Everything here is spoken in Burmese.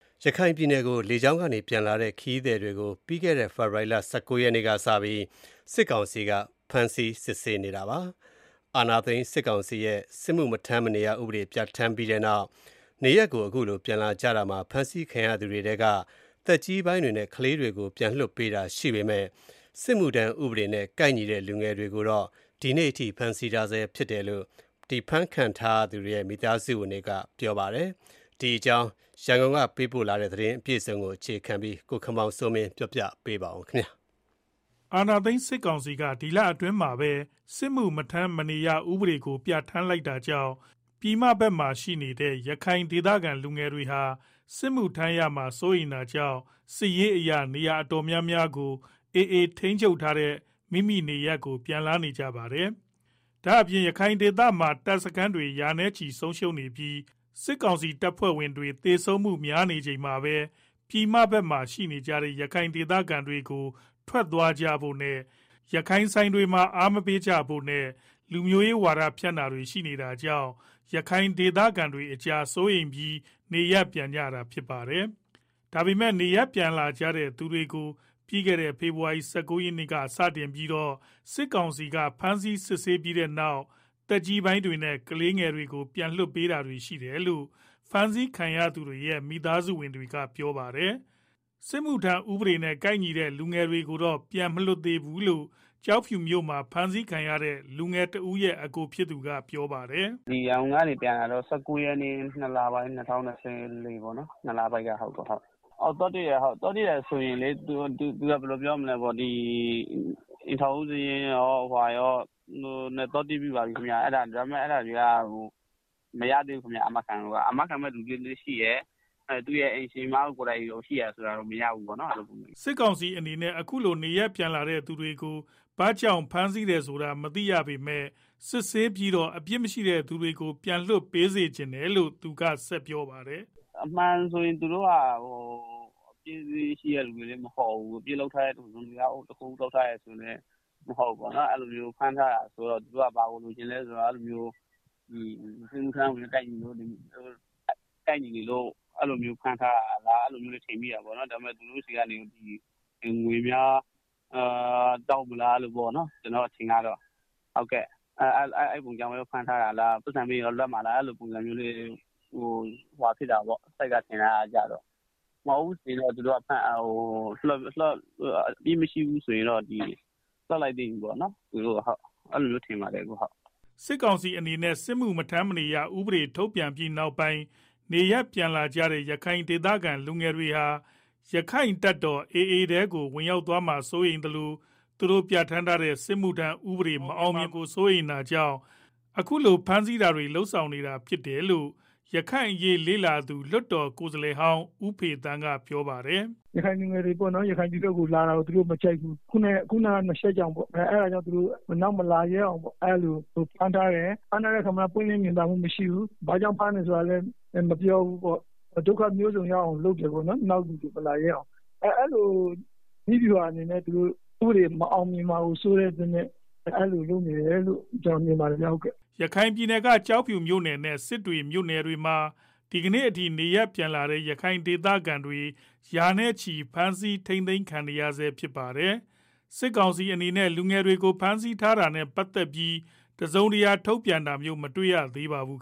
ရခိုင်ပြည်နယ်ကို လေကြောင်းကနေပြန်လာတဲ့ ခရီးသည်တွေကို ပြီးခဲ့တဲ့ ဖေဖော်ဝါရီလ ၁၉ရက်နေ့က စပြီး စစ်ကောင်စီက ဖမ်းဆီးစစ်ဆေးနေတာပါ။ အာဏာသိမ်းစစ်ကောင်စီရဲ့ စစ်မှုမထမ်းမနေရ ဥပဒေပြဋ္ဌာန်းလိုက်ပြီးနောက် နေရပ်ကို ပြန်လာကြတာမှာ ဖမ်းဆီးခံရသူတွေထဲက သက်ကြီးပိုင်းတွေနဲ့ ကလေးတွေကို ပြန်လွတ်ပေးတာရှိပေမယ့် စစ်မှုထမ်းဥပဒေနဲ့ ကိုက်ညီတဲ့ လူငယ်တွေကို ဒီကနေ့ အထိဖမ်းထားဆဲဖြစ်တယ်လို့ ဖမ်းဆီးခံထားရသူတွေရဲ့ မိသားစုဝင်တွေ ကပြော ပါတယ်။ရန်ကုန်ကပေးပို့ထားတဲ့ သတင်း အပြည့်အစုံကိုတော့ ကိုခင်မောင်စိုးမင်းကတင်ပြပေးပါမယ်။ အာဏာသိမ်းစစ်ကောင်စီက ဒီလအတွင်းမှာပဲ စစ်မှုမထမ်းမနေရ ဥပဒေကိုပြဋ္ဌာန်းလိုက်တာကြောင့် ပြည်မဘက်မှာရှိနေတဲ့ ရခိုင်ဒေသခံလူငယ်တွေဟာ စစ်မှုထမ်းရမှာ စိုးရိမ်တာကြောင့် စစ်ရေးအရ နေရာတော်တော်များများကို AA ထိန်းချုပ်ထားတဲ့ မိမိနေရပ်ကို ပြန်လာကြတာပါ။ ဒါ့အပြင်ရခိုင်ဒေသမှာ တပ်စခန်းတွေ ရာနဲ့ချီဆုံးရှုံးနေပြီးစစ်ကောင်စီတပ်ဖွဲ့ဝင်တွေ သေဆုံးမှု များနေချိန်မှာပဲ ပြည်မဘက်မှာ ရှိနေတဲ့ ရခိုင်ဒေသခံတွေကို ထွက်သွားဖို့နဲ့ ရခိုင်ဆိုင်တွေမှာ အားမပေးကြဖို့ နဲ့ လူမျိုးရေး ဝါဒဖြန့်တာတွေ ရှိလာတာကြောင့်လည်း ရခိုင်ဒေသခံကြားစိုးရိမ်ပြီးတော့ နေရပ်ပြန်နေကြတာပါ။ ဒါ့ပေမဲ့ နေရပ်လာတဲ့သူတွေကို ပြီးခဲ့တဲ့ ဖေဖော်ဝါရီလ ၁၉ရက်နေ့က စတင်ပြီးတော့ စစ်ကောင်စီကဖမ်းစီး စစ်ဆေးပြီးနောက် သက်ကြီးပိုင်းတွေနဲ့ ကလေးတွေကို ပြန်လွတ်ပေးတာရှိတယ်လို့ ဖမ်းဆီးခံရသူတွေရဲ့ မိသားစုဝင်တွေကပြောပါတယ်။ စစ်မှုထမ်းဥပဒေနဲ့ ကိုက်ညီတဲ့ လူငယ်တွေကိုတော့ ပြန်မလွတ်သေးဘူးလို့ ကျောက်ဖြူမြို့မှာ ဖမ်းဆီးခံထားရသူ လူငယ် တဦးရဲ့ အကိုဖြစ်သူက ပြောပါတယ်။ “ ရန်ကုန်ကနေ ပြန်လာတာ ၁၉ရက်နေ့ ၂လပိုင်း ၂၀၂၄ကပါ။ အခုအချိန်ထိ သူတို့အဖမ်းခံ ထားရတုန်းပါ၊ ကျနော်တို့က အိမ်ထောင်စုစာရင်းတွေယူပြီး သွားတွေ့ပြီးပါပြီ ဒါပေမယ့်မရ သေးဘူးဗျ အာမခံမယ့်သူလည်းရှိတယ် သူ့အိမ်ရှင်မကိုယ်တိုင်သွားတာတောင် မရသေးပါ ဘူးဗျာ။” စစ်ကောင်စီအနေနဲ့ အခုလိုနေရပ်ပြန်လာတဲ့ သူတွေကို ဘာကြောင့် ဖမ်းထား တယ်ဆိုတာ မသိပေမဲ့ စစ်ဆေးပြီးတော့ အပြစ်မရှိတဲ့သူတွေကို ပြန်လွတ်ပေးစေချင်တယ်လို့သူကဆက်ပြောပါတယ်။ “ သူတို့က အပြစ်ရှိတဲ့သူတွေလည်းမဟုတ်ဘူး အပြစ်လုပ်ထားသူတွေလည်း မဟုတ်ဘူး၊ ဒါပေမဲ့ ဖမ်းထားတယ်ဆိုတော့ သူတို့က ဘာကိုလိုချင်လဲ စစ်မှုထမ်းဥပဒေနဲ့ ကိုက်ညီနေလို့ ဖမ်းထားတာလား၊ သူတို့ဆီက ငွေများတောင်းမလားပေါ့နော် ကျနော့်အထင်ကတော့ ပိုက်ဆံပေးမှ လွတ်မှာလား စိတ်ကတော့ အဲလိုထင်တယ်။မဟုတ်ဘူးဆိုရင်တော့ အပြစ်မရှိရင် လွတ်လိုက်သင့်ပြီလို့ ထင်ပါတယ်ဟုတ်။” စစ်ကောင်စီအနေနဲ့ စစ်မှုမထမ်းမနေရ ဥပေဒေထုတ်ပြန်ပြီးနောက်ပိုင်း နေရပ်ပြန်လာကြတဲ့ ရခိုင်ဒေသခံလူငယ်တွေဟာ ရက္ခိုင့်တပ်တော်AAထဲကိုကို ဝင်ရောက်သွားမှာစိုးရိမ်သလို သူတို့ပြဌာန်းထားတဲ့ စစ်မှုထမ်းဥပဒေမအောင်မြင်မှာကို စိုးရိမ်တာကြောင့် အခုလို ဖမ်းဆီး တာတွေ လုပ်ဆောင်နေတာဖြစ်တယ်လို့ ရခိုင်အရေးလေ့လာသုံးသပ်သူ လွတ်တော် ကိုယ်စား လှယ်ဟောင်း ဦးဖေသန်းကကပြောပါတယ်။ “ ရခိုင်လူငယ်တွေ ရခိုင်ပြည်နယ်ဘက်ကို လာတာကို သူတို့မကြိုက်ဘူး၊ ခုနားက နှစ်ချက် ကြောင့်ပေါ့ အဲတာကြောင့် နောက်မလာရဲအောင် ဖမ်းထားတယ်၊ ဖမ်းထားတဲ့ အခါမှာလည်း ပွင့်လင့်မြင်သာမှု မရှိဘူး၊ ဘာကြောင့် ဖမ်းတယ်ဆိုတာလည်း မပြောဘူးပေါ့၊ ဒုက္ခမျိုးစုံ ရောက်အောင် လုပ်တယ် နောက်လူတွေ မလာရဲအောင် အဲလိုနည်းဗျူဟာတွေနဲ့ စစ်မှုထမ်း ဥပဒေ မအောင်မြင်မှာကို စိုးတဲ့အတွက် အဲလို လုပ်နေတယ်လို့ ကျနော်မြင်ပါတယ်။” ရခိုင်ပြည်နယ်က ကျောက်ဖြူမြို့နယ်နဲ့ စစ်တွေမြို့နယ်မှာ ဒီကနေ့အထိ နေရပ်ပြန်လာတဲ့ ရခိုင်ဒေသခံ ရာနဲ့ချီ ဖမ်းဆီးထိန်းသိမ်းခံထားရဆဲဖြစ်ပါတယ်။ စစ်ကောင်စီအနေနဲ့ လူငယ်တွေကို ဖမ်းဆီးထားတာနဲ့ ပတ်သတ်ပြီး တစုံတရာထုတ်ပြန်တာမျိုး မတွေ့ရသေးပါဘူး